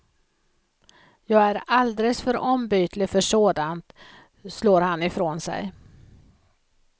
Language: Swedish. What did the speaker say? Jag är alldeles för ombytlig för sånt, slår han i från sig.